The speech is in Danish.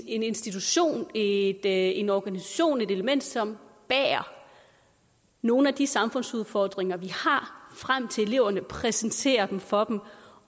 en institution en en organisation et element som bærer nogle af de samfundsudfordringer vi har frem til eleverne præsenterer dem for dem